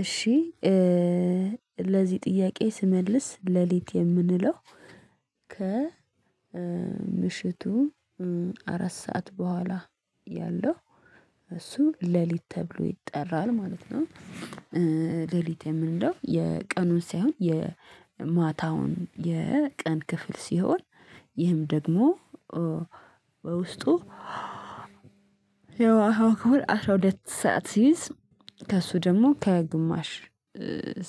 እሺ ለዚህ ጥያቄ ስመልስ ሌሊት የምንለው ከ ምሽቱ አራት ሰዓት በኋላ ያለው እሱ ሌሊት ተብሎ ይጠራል ማለት ነው፤ ሌሊት የምንለው የቀኑን ሳይሆን የማታውን የቀን ክፍል ሲሆን ይህም ደግሞ ውስጡ ያለው አስራ ሁለት ሰዓት ሲይዝ ከእሱ ደግሞ ከግማሽ